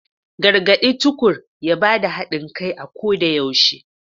Gargade Tukur ya bada hadin kai a koda yaushe.